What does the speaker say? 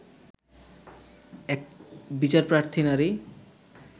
এক বিচারপ্রার্থী নারী